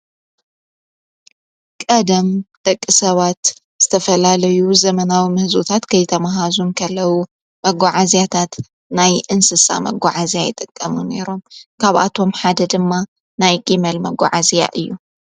ቀደም ደቂ ሰባት ዝተፈላለዩ ዘመናዊ ምሕዙዉታት ከይተመሃዙ ንከለዉ መጕዓእዚያታት ናይ እንስሳ መጕዓ እዚያ ይጠቀሙ ነይሮም ካብኣቶም ሓደ ድማ ናይ ጊመል መጕዓ እዚያ እዩ፡፡